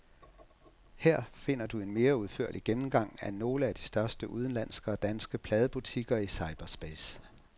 Her finder du en mere udførlig gennemgang af nogle af de største udenlandske og danske pladebutikker i cyberspace.